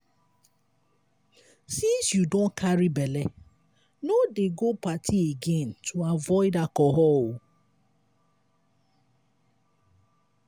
since you don carry bele no dey go party again to avoid alcohol.